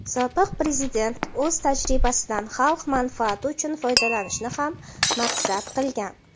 sobiq Prezident "o‘z tajribasidan xalq manfaati uchun foydalanishni" ham maqsad qilgan.